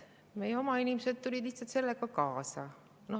Meie oma inimesed tulid lihtsalt sellega kaasa.